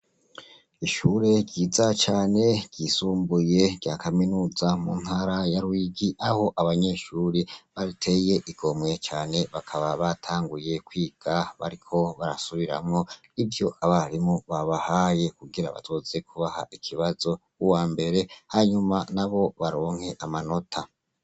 Ishure ryiza cane ryisumbuye rya kaminuza mu ntara ya rwigi aho abanyeshuri bariteye igomwe cane bakaba batanguye kwiga bariko barasubiramwo i vyo abarimu babahaye kugira batoze kubaha ikibazo b'uwa mbere hanyuma na bo baronge nke amanota.